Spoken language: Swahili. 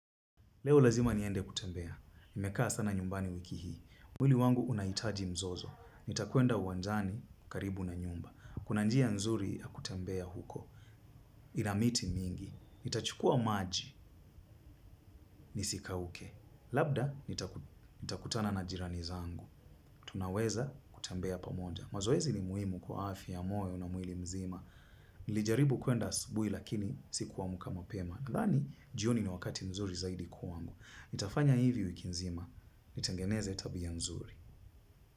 Leo lazima niende kutembea. Nimekaa sana nyumbani wiki hii. Mwili wangu unahitaji mzozo. Nitakwenda uwanjani karibu na nyumba. Kuna njia nzuri ya kutembea huko. Ina miti mingi. Nitachukua maji nisikauke. Labda nitakutana na jirani zangu. Tunaweza kutembea pamoja. Mazoezi ni muhimu kwa afya ya moyo na mwili mzima. Nilijaribu kuenda asubuhi lakini siku amka mapema. Nadhani jioni ni wakati mzuri zaidi kwangu. Nitafanya hivi wiki nzima. Nitengeneze tabia nzuri.